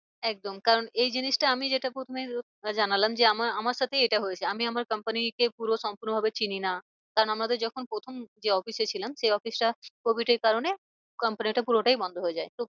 একদম কারণ এই জিনিসটা আমি যেটা প্রথমে জানালাম আমার আমার সাথেই এটা হয়েছে আমি আমার company কে পুরো সম্পূর্ণ ভাবে চিনি না। কারণ আমাদের যখন প্রথম যে office এ ছিলাম সেই office টা covid এর কারণে comapny টা পুরোটাই বন্ধ হয়ে যায়। তো